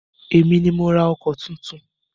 Èmi ni mo ra ọkọ̀ titun.